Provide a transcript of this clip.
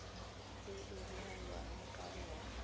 e a nyalwang ka yona